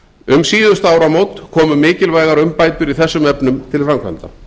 um síðustu áramót komu mikilvægar umbætur í þessum efnum til framkvæmda